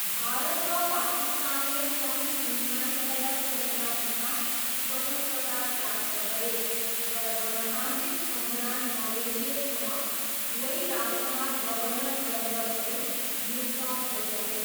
भारत र पाकिस्तानले सन् उन्नाइस सय सैँतालिसमा स्वतन्त्रता प्राप्त गरे, तर गणतान्त्रिक संविधान नलेखिएसम्म दुवै राष्ट्रमा गभर्नर जनरलहरू नियुक्त भइरहे।